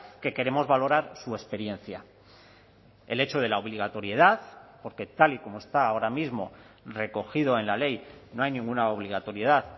que queremos valorar su experiencia el hecho de la obligatoriedad porque tal y como está ahora mismo recogido en la ley no hay ninguna obligatoriedad